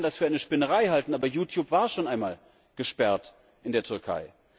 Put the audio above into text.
Man kann das für eine Spinnerei halten, aber YouTube war schon einmal gesperrt in der Türkei.